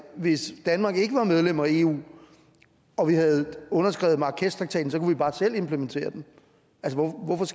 hvis danmark ikke var medlem af eu og vi havde underskrevet marrakeshtraktaten kunne vi bare selv implementere den